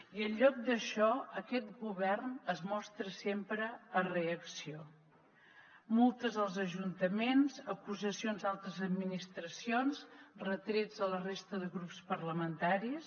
i en lloc d’això aquest govern es mostra sempre a reacció multes als ajuntaments acusacions d’altres administracions retrets a la resta de grups parlamentaris